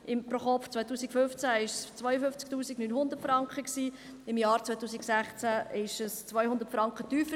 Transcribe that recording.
Das ProKopf-Einkommen lag im Jahr 2015 bei 52 900 Franken, im Jahr 2016 200 Franken tiefer.